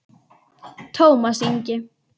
Tómas Ingi.